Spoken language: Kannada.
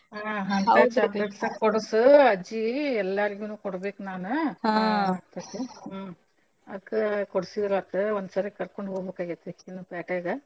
ಹಾ ಹಂತದ chocolates ಕೊಡಸು ಅಜ್ಜಿ ಎಲ್ಲಾರ್ಗೂನು ಕೊಡ್ಬೇಕ್ ನಾನ್ ಅದಕ್ಕ ಕೊಡಸಿದ್ರಾತು ಒಂದ್ಸರೆ ಕರ್ಕೊಂಡ ಹೊಬೇಕಾಗೆತ್ತಿ ಅಕಿನ್ನ ಪ್ಯಾಟ್ಯಾಗ.